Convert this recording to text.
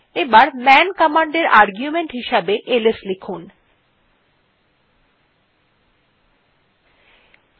এবার man command এ argument হিসাবে এলএস লিখতে হবে